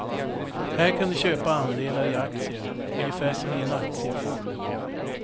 Här kan du köpa andelar i aktier ungefär som i en aktiefond.